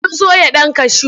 Sun soya ɗan kashu.